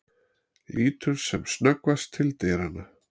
Lítur sem snöggvast til dyranna.